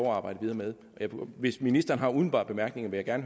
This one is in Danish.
arbejde videre med hvis ministeren har umiddelbare bemærkninger vil jeg